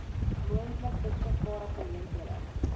moontlik beskikbare geleenthede